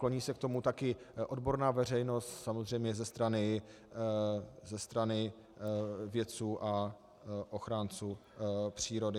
Kloní se k tomu také odborná veřejnost samozřejmě ze strany vědců a ochránců přírody.